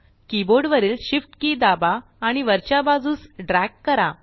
keyboard वरील Shift key दाबा आणि वरच्या बाजूस ड्रॅग करा